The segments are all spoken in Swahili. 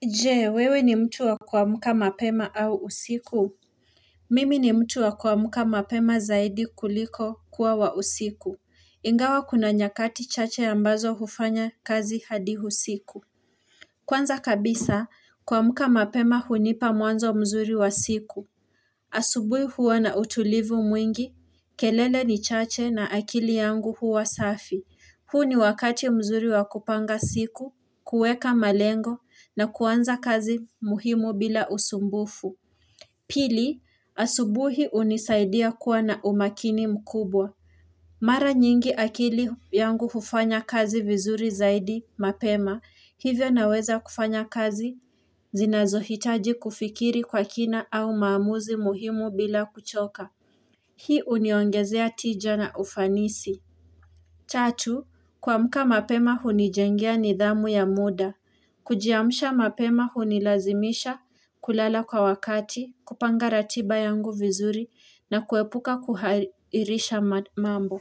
Je, wewe ni mtu wa kuamka mapema au usiku? Mimi ni mtu wa kuamka mapema zaidi kuliko kuwa wa usiku. Ingawa kuna nyakati chache ambazo hufanya kazi hadi husiku. Kwanza kabisa, kuamka mapema hunipa mwanzo mzuri wa siku. Asubui huwa na utulivu mwingi, kelele ni chache na akili yangu huwa safi. Huu ni wakati mzuri wa kupanga siku, kuweka malengo na kuanza kazi muhimu bila usumbufu. Pili, asubuhi unisaidia kuwa na umakini mkubwa. Mara nyingi akili yangu hufanya kazi vizuri zaidi mapema, hivyo naweza kufanya kazi zinazohitaji kufikiri kwa kina au maamuzi muhimu bila kuchoka. Hii uniongezea tija na ufanisi. Tatu, kuamka mapema hunijengea nidhamu ya muda. Kujiamsha mapema hunilazimisha kulala kwa wakati, kupanga ratiba yangu vizuri na kuepuka kuhairisha mambo.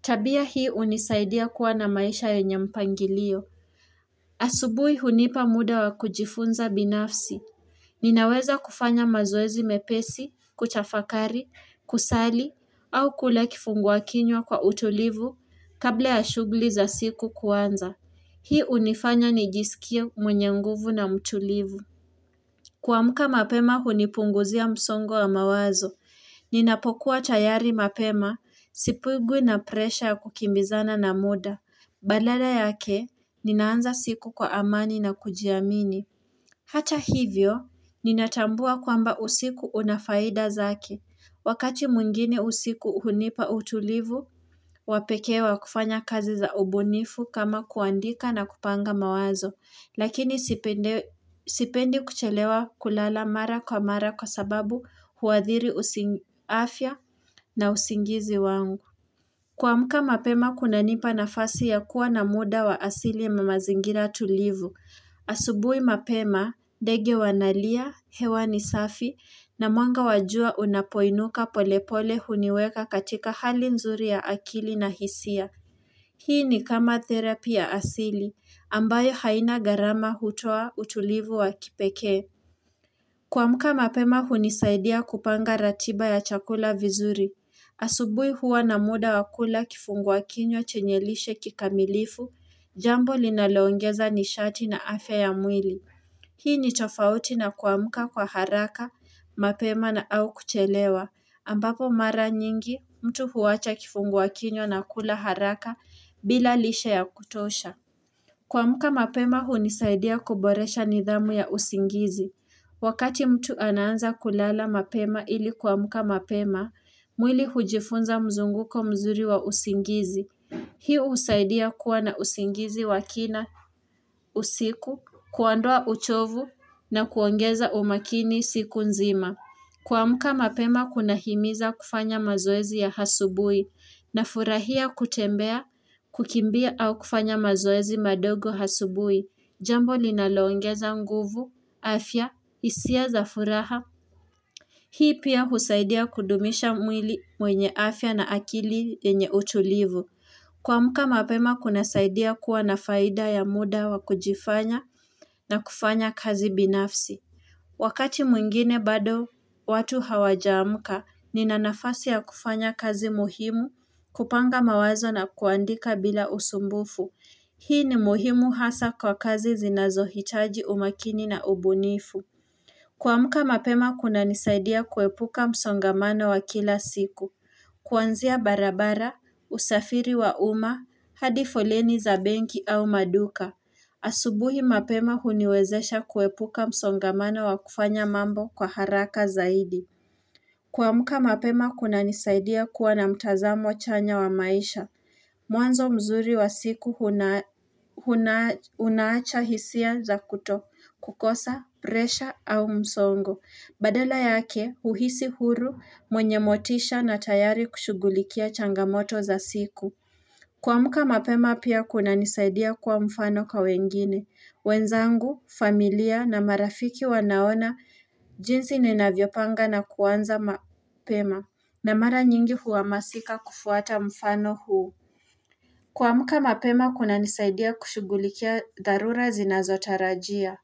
Tabia hii unisaidia kuwa na maisha yenye mpangilio. Asubui hunipa muda wa kujifunza binafsi. Ninaweza kufanya mazoezi mepesi, kuchafakari, kusali, au kula kifungua kinywa kwa utulivu kabla ya shughli za siku kuanza. Hii unifanya nijisikie mwenye nguvu na mtulivu. Kuamka mapema hunipunguzia msongo wa mawazo. Ninapokuwa tayari mapema sipigwi na presha kukimbizana na muda. Balada yake, ninaanza siku kwa amani na kujiamini. Hata hivyo, ninatambua kwamba usiku una faida zake. Wakati mwingine usiku hunipa utulivu, wa pekee wa kufanya kazi za ubunifu kama kuandika na kupanga mawazo, lakini sipendi kuchelewa kulala mara kwa mara kwa sababu huathiri usi afia na usingizi wangu. Kuamka mapema kunanipa nafasi ya kuwa na muda wa asili na mazingira tulivu. Asubui mapema, dege wanalia, hewa ni safi, na mwanga wa jua unapoinuka polepole huniweka katika hali nzuri ya akili na hisia. Hii ni kama therapi ya asili, ambayo haina gharama hutoa utulivu wa kipekee. Kuamka mapema hunisaidia kupanga ratiba ya chakula vizuri. Asubui huwa na muda wa kula kifungua kinywa chenye lishe kikamilifu, jambo linaloongeza nishati na afe ya mwili. Hii ni tofauti na kuamka kwa haraka, mapema na au kuchelewa. Ambapo mara nyingi, mtu huwacha kifungua kinywa na kula haraka bila lishe ya kutosha. Kuamka mapema hunisaidia kuboresha nidhamu ya usingizi. Wakati mtu anaanza kulala mapema ili kuamka mapema, mwili hujifunza mzunguko mzuri wa usingizi. Hii usaidia kuwa na usingizi wa kina usiku, kuandoa uchovu na kuongeza umakini siku nzima. Kuamka mapema kunahimiza kufanya mazoezi ya hasubui nafurahia kutembea kukimbia au kufanya mazoezi madogo hasubui. Jambo linaloongeza nguvu, afya, isia za furaha. Hii pia husaidia kudumisha mwili mwenye afya na akili yenye utulivu. Kuamka mapema kunasaidia kuwa na faida ya muda wa kujifanya na kufanya kazi binafsi. Wakati mwingine bado watu hawajaamka, nina nafasi ya kufanya kazi muhimu kupanga mawazo na kuandika bila usumbufu. Hii ni muhimu hasa kwa kazi zinazohitaji umakini na ubunifu. Kuamka mapema kunanisaidia kuepuka msongamano wa kila siku. Kwanzia barabara, usafiri wa uma, hadi foleni za benki au maduka. Asubuhi mapema huniwezesha kuepuka msongamano wa kufanya mambo kwa haraka zaidi kuamka mapema kunanisaidia kuwa na mtazamo chanya wa maisha Mwanzo mzuri wa siku huna hunaacha hisia za kutokukosa presha au msongo Badala yake huhisi huru mwenye motisha na tayari kushugulikia changamoto za siku kuamka mapema pia kunanisaidia kuwa mfano kwa wengine wenzangu, familia na marafiki wanaona jinsi ninavyopanga na kuanza mapema na mara nyingi huwamasika kufuata mfano huu kuamka mapema kunanisaidia kushugulikia dharura zinazotarajia.